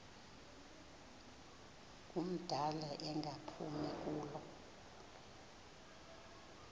ngumdala engaphumi kulo